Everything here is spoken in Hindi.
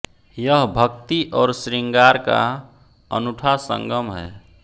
यह भक्ति और शृंगार का अनूठा संगम है